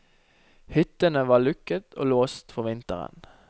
Hyttene var lukket og låst for vinteren.